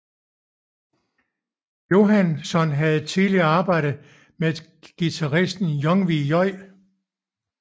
Johansson havde tidligere arbejdet med guitaristen Yngwie J